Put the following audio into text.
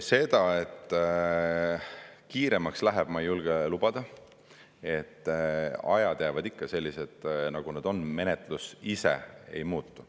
Seda, et kiiremaks läheb, ma ei julge lubada, ajad jäävad ikka selliseks, nagu nad on, menetlus ise ei muutu.